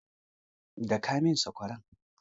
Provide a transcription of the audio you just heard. Daka min sakwara!